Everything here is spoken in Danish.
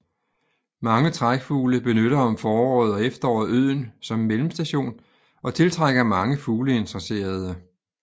Mange trækfugle benytter om foråret og efteråret øen som mellemstation og tiltrækker mange fugleinteresserede